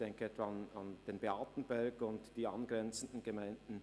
Ich denke etwa an den Beatenberg und die angrenzenden Gemeinden.